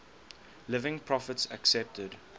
living prophets accepted